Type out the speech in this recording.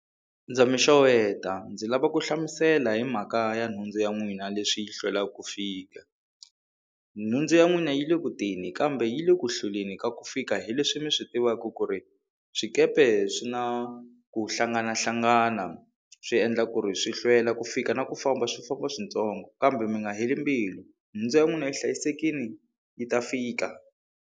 Ndza mi xeweta ndzi lava ku hlamusela hi mhaka ya nhundzu ya n'wina leswi yi hlwelaka ku fika nhundzu ya n'wina yi le ku teni kambe yi le ku hlweleni ka ku fika hi leswi mi swi tivaka ku ri swikepe swi na ku hlanganahlangana swi endla ku ri swi hlwela ku fika na ku famba swi famba switsongo kambe mi nga heli mbilu nhundzu ya n'wina yi hlayisekile yi ta fika.